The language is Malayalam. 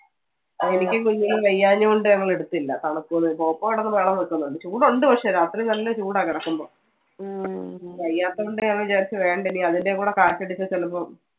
എനിക്കും കുഞ്ഞിനും വയ്യാഞ്ഞതുകൊണ്ട് ഞങ്ങൾ എടുത്തില്ല. പോപ്പോ കിടന്നു ബഹളം വെക്കുന്നുണ്ട്, ചൂട് ഉണ്ട് പക്ഷെ രാത്രി നല്ല ചൂടാ കിടക്കുമ്പോ. വയ്യാത്തതുകൊണ്ട് ഞങ്ങൾ വിചാരിച്ചു വേണ്ട ഇനി അതിന്റെം കൂടെ കാറ്റ് അടിച്ചാൽ ചിലപ്പോ